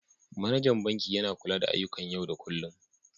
Manajan banki yana kula da ayyukan yau da kullun.